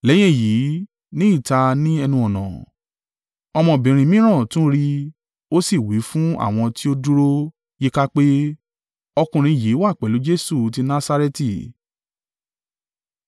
Lẹ́yìn èyí, ní ìta ní ẹnu-ọ̀nà, ọmọbìnrin mìíràn tún rí i, ó sì wí fún àwọn tí ó dúró yíká pé, “Ọkùnrin yìí wà pẹ̀lú Jesu ti Nasareti.”